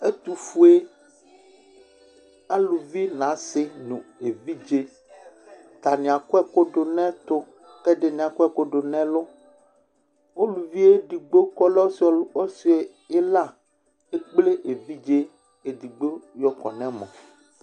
Ɛtufuɛ alʋvi n'asi nʋ evidze at'ani akɔ ɛkʋdʋ n'ɛtʋ, k'ɛdini akɔ ɛkʋ dʋ n'ɛlʋ Uluvi edigbo k'ɔlɛ ɔsi ila ekple evidze edigbo yɔ kɔ n'ɛmɔ